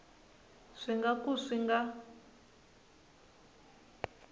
swi nga ka swi nga